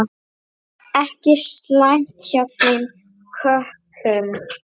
Ekki slæmt hjá þeim köppum.